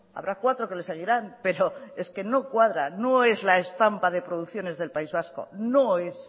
habrá cuatro que le seguirán pero es que no cuadra no es la estampa de producciones del país vasco no es